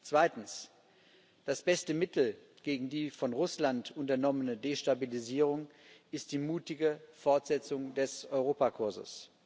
Zweitens Das beste Mittel gegen die von Russland unternommene Destabilisierung ist die mutige Fortsetzung des Europakurses.